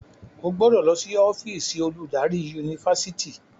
o gbọdọ ló sì ọ́fíìsì oludari Yunifásitìni.